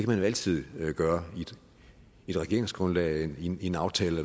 man jo altid gøre i et regeringsgrundlag i en en aftale